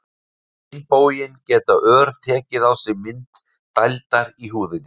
Á hinn bóginn geta ör tekið á sig mynd dældar í húðinni.